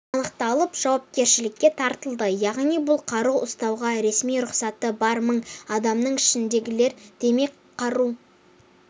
анықталып жауапкершілікке тартылды яғни бұл қару ұстауға ресми рұқсаты бар мың адамның ішіндегілер демек қару